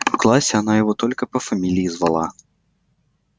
в классе она его только по фамилии звала